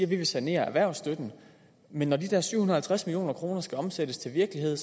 vil sanere erhvervsstøtten men når de der syv hundrede og halvtreds million kroner skal omsættes til virkelighed